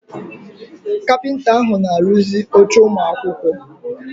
Kapịnta ahụ na-arụzi oche ụmụ akwụkwọ.